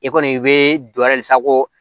I kɔni i be dɔ wɛrɛ ye sa ko